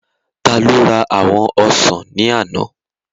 Taló ra àwọn ọsàn ní àná?